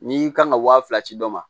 N'i kan ka wa fila ci dɔ ma